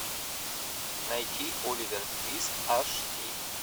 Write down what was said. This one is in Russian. найти оливер твист аш ди